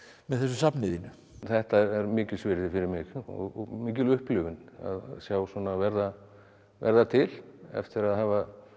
með þessu safni þínu þetta er mikils virði fyrir mig og mikil upplifun að sjá svona verða verða til eftir að hafa